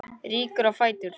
Rýkur á fætur.